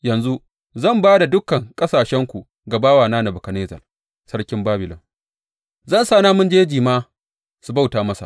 Yanzu zan ba da dukan ƙasashenku ga bawana Nebukadnezzar sarkin Babilon; zan sa namun jeji ma su bauta masa.